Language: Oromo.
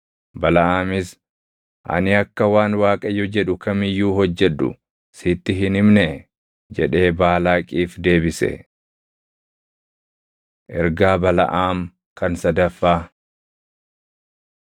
Balaʼaamis, “Ani akka waan Waaqayyo jedhu kam iyyuu hojjedhu sitti hin himnee?” jedhee Baalaaqiif deebise. Ergaa Balaʼaam Kan Sadaffaa